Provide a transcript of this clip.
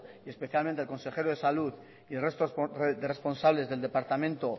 y especialmente el consejero de salud y el resto de responsables del departamento